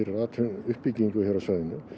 atvinnuuppbyggingu á svæðinu